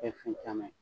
Kɛ fɛn caman ye